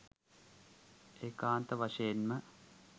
ඒකාන්ත වශයෙන්ම